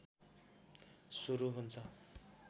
सुरू हुन्छ